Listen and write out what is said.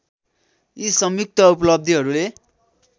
यि सङ्युक्त उपलब्धिहरूले